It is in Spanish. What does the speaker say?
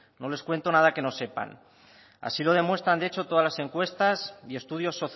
no les cuento nada que no sepan así lo demuestran de hecho todas las encuestas y estudios